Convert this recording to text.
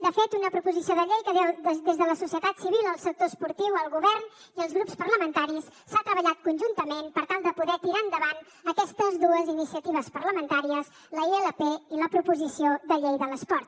de fet una proposició de llei que des de la societat civil el sector esportiu el govern i els grups parlamentaris s’ha treballat conjuntament per tal de poder tirar endavant aquestes dues iniciatives parlamentàries la ilp i la proposició de llei de l’esport